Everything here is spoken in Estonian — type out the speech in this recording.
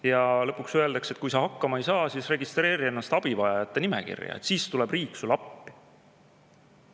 Ja lõpuks öeldakse, et kui sa hakkama ei saa, siis registreeri ennast abivajajate nimekirja, siis tuleb riik sulle appi.